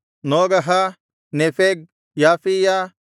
ನೋಗಹ ನೆಫೆಗ್ ಯಾಫೀಯ